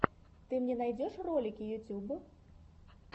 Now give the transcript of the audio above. ты мне найдешь ролики ютуб